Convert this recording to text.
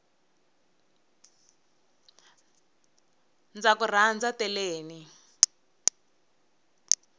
ndzaku rhandza teleni